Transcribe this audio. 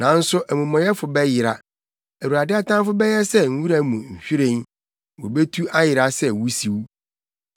Nanso amumɔyɛfo bɛyera. Awurade atamfo bɛyɛ sɛ nwura mu nhwiren; wobetu ayera sɛ wusiw.